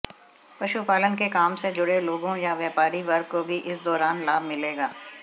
पशुपालन के काम से जुड़े लोगों या व्यापारी वर्ग को भी इस दौरान लाभ मिलेगा